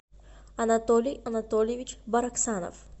анатолий анатольевич бараксанов